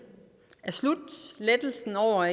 og